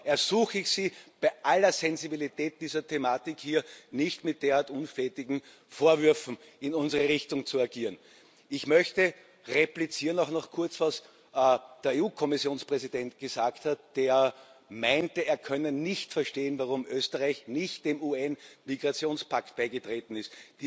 Da ersuche ich Sie, bei aller Sensibilität dieser Thematik, hier nicht mit derart unflätigen Vorwürfen in unsere Richtung zu agieren. Ich möchte auch noch kurz replizieren, was der EU Kommissionspräsident gesagt hat, der meinte, er könne nicht verstehen, warum Österreich nicht dem UN Migrationspakt beigetreten ist.